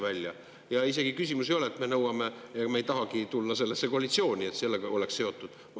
Küsimus isegi ei ole selles – ega me ei tahagi tulla sellesse koalitsiooni –, et see sellega oleks seotud.